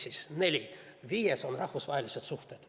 Viies on rahvusvahelised suhted.